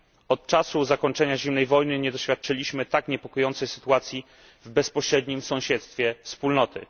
Od czasu zakończenia zimnej wojny nie doświadczyliśmy tak niepokojącej sytuacji w bezpośrednim sąsiedztwie Wspólnoty.